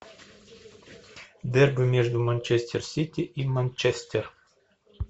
дерби между манчестер сити и манчестер